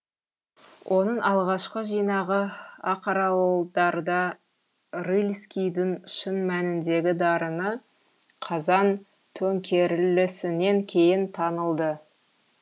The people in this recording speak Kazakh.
оның алғашқы жинағы ақаралдарда рыльскийдің шын мәніндегі дарыны қазан төңкерілісінен кейін танылды